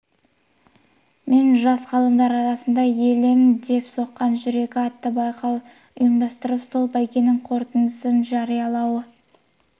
мен жас ғалымдар арасында елім деп соққан жүрегі атты байқау ұйымдастырып сол бәйгенің қорытындысын жариялауы